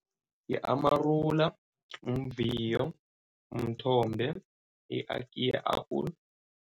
I-amarula, mviyo, mthombe, apple.